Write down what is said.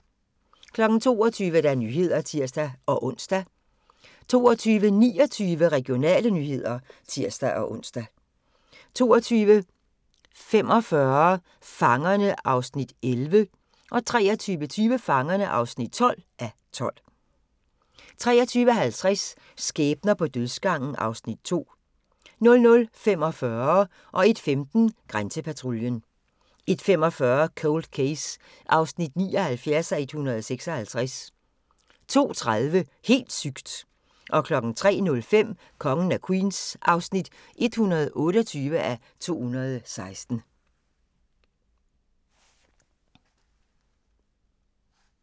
22:00: Nyhederne (tir-ons) 22:29: Regionale nyheder (tir-ons) 22:45: Fangerne (11:12) 23:20: Fangerne (12:12) 23:50: Skæbner på dødsgangen (Afs. 2) 00:45: Grænsepatruljen 01:15: Grænsepatruljen 01:45: Cold Case (79:156) 02:30: Helt sygt! 03:05: Kongen af Queens (128:216)